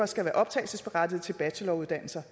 skal være optagelsesberettigede til bacheloruddannelser